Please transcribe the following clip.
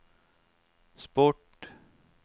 sport